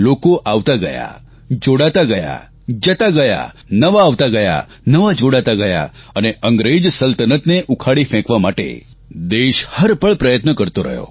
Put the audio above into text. લોક આવતા ગયા જોડાતા ગયા જતા ગયા નવા આવતા ગયા નવા જોડાતા ગયા અને અંગ્રેજ સલ્તનતને ઉખાડી ફેંકવા માટે દેશ હરપળ પ્રયત્ન કરતો રહ્યો